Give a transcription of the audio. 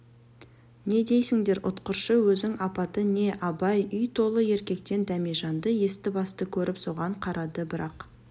не дейсіңдер ұқтыршы өзің апаты не абай үй толы еркектен дәмежанды есті-басты көріп соған қарады бірақ